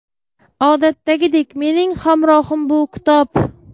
Odatdagidek, mening hamrohim bu - kitob.